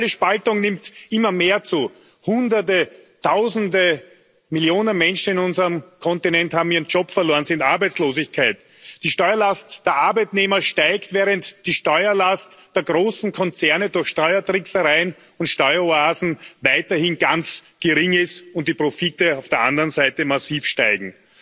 Die soziale Spaltung nimmt immer mehr zu Hunderte, Tausende, Millionen Menschen auf unserem Kontinent haben ihren Job verloren, sind arbeitslos. Die Steuerlast der Arbeitnehmer steigt, während die Steuerlast der großen Konzerne durch Steuertricksereien und Steueroasen weiterhin ganz gering ist, und die Profite auf der anderen Seite massiv steigen.